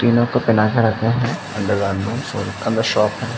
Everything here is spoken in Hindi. तीनो का पहना कर रखा है अंडर गारमेन्ट्स शॉप है।